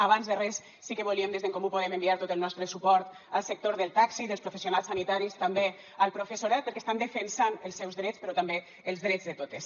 abans de res sí que volíem des d’en comú podem enviar tot el nostre suport al sector del taxi dels professionals sanitaris també al professorat perquè estan defensant els seus drets però també els drets de totes